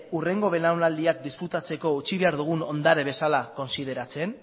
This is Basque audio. hurrengo belaunaldiak disfrutatzeko utzi behar dugun ondare bezala kontsideratzen